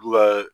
Bu ka